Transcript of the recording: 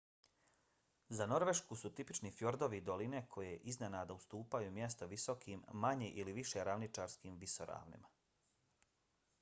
za norvešku su tipični fjordovi i doline koje iznenada ustupaju mjesto visokim manje ili više ravničarskim visoravnima